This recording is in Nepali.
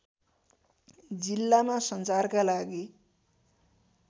जिल्लामा सञ्चारका लागि